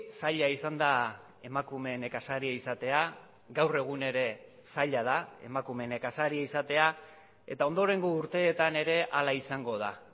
zaila izan da emakume nekazaria izatea gaur egun ere zaila da emakume nekazaria izatea eta ondorengo urteetan ere hala izango da